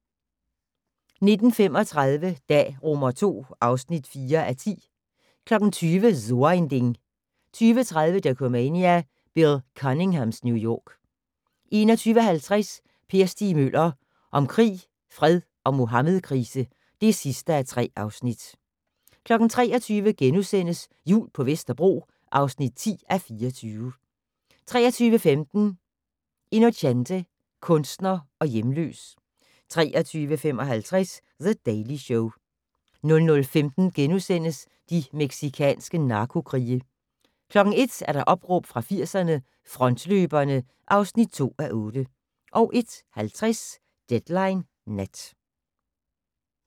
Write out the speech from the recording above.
19:35: Dag II (4:10) 20:00: So ein Ding 20:30: Dokumania: Bill Cunninghams New York 21:50: Per Stig Møller - om krig, fred og Muhammedkrise (3:3) 23:00: Jul på Vesterbro (10:24)* 23:15: Inocente - kunstner og hjemløs 23:55: The Daily Show 00:15: De mexicanske narkokrige * 01:00: Opråb fra 80'erne - Frontløberne (2:8) 01:50: Deadline Nat